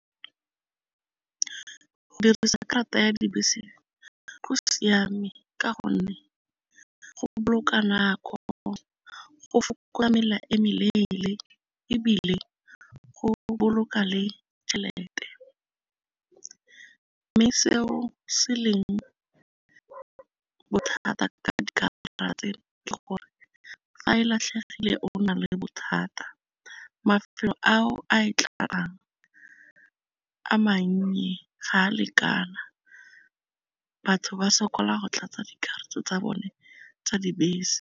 Go dirisa karata ya dibese go siame ka gonne go boloka nako, go fokotsa mela e meleele, ebile go boloka le tšhelete. Mme seo se leng bothata ka dikarata tseno ke gore fa e latlhegile o na le bothata, a mannye ga a lekana batho ba sokola go tlatsa dikarata tsa bone tsa dibese.